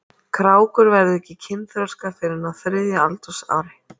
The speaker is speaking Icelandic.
Krákur verða ekki kynþroska fyrr en á þriðja aldursári.